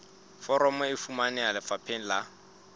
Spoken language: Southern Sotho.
foromo e fumaneha lefapheng la